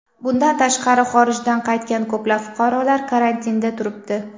Bundan tashqari, xorijdan qaytgan ko‘plab fuqarolar karantinda turibdi.